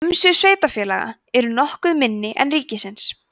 umsvif sveitarfélaga eru nokkuð minni en ríkisins